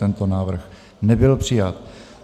Tento návrh nebyl přijat.